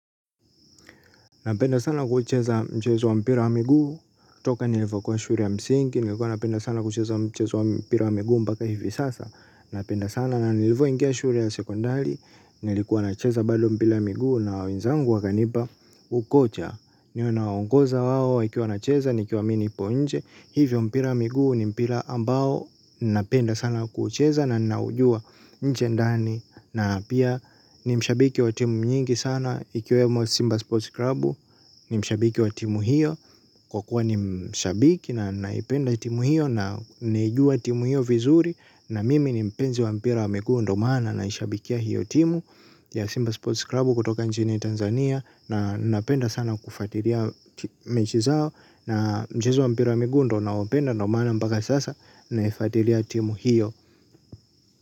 Napenda sana kuucheza mchezo wa mpira wa miguu. Toka nilivo kuwa shule ya msingi nilikuwa napenda sana kucheza mchezo wa mpira wa miguu mpaka hivi sasa. Napenda sana na nilivo ingia shule ya sekondari nilikuwa nacheza bado mpira wa miguu na wennzangu wakanipa ukocha. Niwe nawaongoza wao wakiwa wanacheza nikiwa mimi nipo nje. Hivyo mpira wa miguu ni mpira ambao napenda sana kuucheza na ninaujua njendani. Na pia ni mshabiki wa timu nyingi sana ikiwemo Simba Sports Club. Ni mshabiki wa timu hiyo. Kwa kuwa ni mshabiki na ninaipenda timu hiyo. Na nimejua timu hiyo vizuri. Na mimi ni mpenzi wa mpira wa miguu ndo maana naishabikia hiyo timu Ya Simba Sports Club kutoka nchini Tanzania. Na napenda sana kufuatilia mechi zao. Na mchezo wa mpira wa miguu ndo nao penda ndio maana mpaka sasa naifualia timu hiyo.